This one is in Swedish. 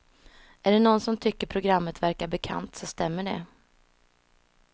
Är det någon som tycker programmet verkar bekant så stämmer det.